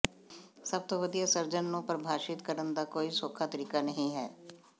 ਸਭ ਤੋਂ ਵਧੀਆ ਸਰਜਨ ਨੂੰ ਪਰਿਭਾਸ਼ਤ ਕਰਨ ਦਾ ਕੋਈ ਸੌਖਾ ਤਰੀਕਾ ਨਹੀਂ ਹੈ